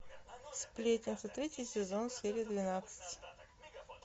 сплетница третий сезон серия двенадцать